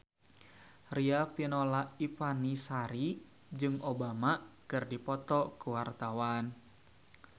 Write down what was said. Riafinola Ifani Sari jeung Obama keur dipoto ku wartawan